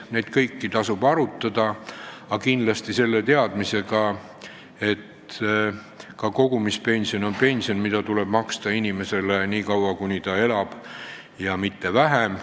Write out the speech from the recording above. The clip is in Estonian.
Neid kõiki tasub arutada, aga kindlasti selle teadmisega, et ka kogumispension on pension, mida tuleb maksta inimesele nii kaua, kuni ta elab, mitte lühemat aega.